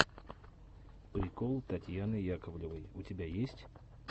прикол татьяны яковлевой у тебя есть